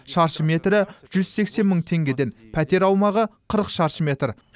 шаршы метрі жүз сексен мың теңгеден пәтер аумағы қырық шаршы метр